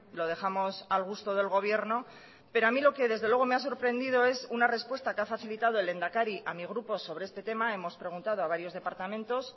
lo dejamos al gusto del gobierno pero a mí lo que desde luego me ha sorprendido es una respuesta que ha facilitado el lehendakari a mi grupo sobre este tema hemos preguntado a varios departamentos